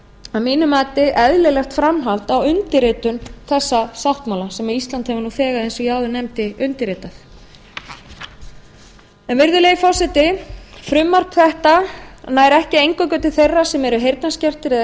að mínu mati eðlilegt framhald á undirritun þessa sáttmála sem ísland hefur nú þegar eins og ég áður nefndi undirritað virðulegi forseti frumvarp þetta nær ekki eingöngu til þeirra sem eru heyrnarskertir eða